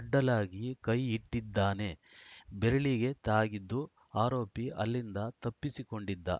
ಅಡ್ಡಲಾಗಿ ಕೈ ಇಟ್ಟಿದ್ದಾನೆ ಬೆರಳಿಗೆ ತಾಗಿದ್ದು ಆರೋಪಿ ಅಲ್ಲಿಂದ ತಪ್ಪಿಸಿಕೊಂಡಿದ್ದ